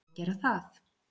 Á að gera það?